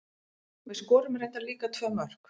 Við skorum reyndar líka tvö mörk.